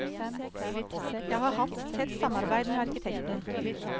Jeg har hatt tett samarbeid med arkitekten.